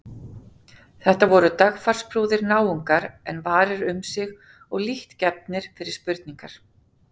Þetta voru dagfarsprúðir náungar en varir um sig og lítt gefnir fyrir spurningar.